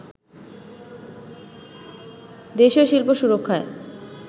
দেশীয় শিল্প সুরক্ষায়